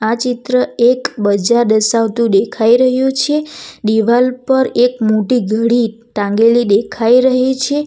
આ ચિત્ર એક બજાર દર્શાવતું દેખાય રહ્યું છે દીવાલ પર એક મોટી ઘડી ટાંગેલી દેખાય રહી છે.